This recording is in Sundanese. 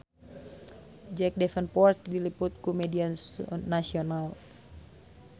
Jack Davenport diliput ku media nasional